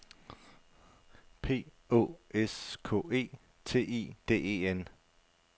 P Å S K E T I D E N